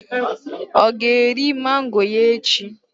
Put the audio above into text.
Ọ ga-eri mango ya echi.